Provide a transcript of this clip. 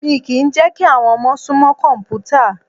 Mi kìí n jẹ́ kí àwọn ọmọ sún mọ́ kọ̀mpútà.